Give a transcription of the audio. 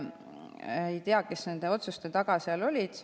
Ma ei tea, kes nende otsuste taga seal olid.